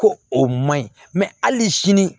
Ko o man ɲi hali sini